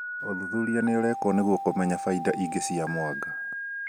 ũthuthuria nĩũrekwo nĩguo kũmenya baida ingĩ cia mwanga